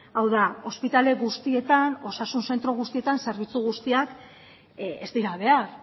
hau da ospitale guztietan osasun zentro guztietan zerbitzu guztiak ez dira behar